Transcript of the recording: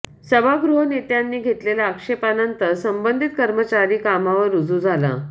सभागृहनेत्यांनी घेतलेल्या आक्षेपानंतर संबंधित कर्मचारी कामावर रुजू झाला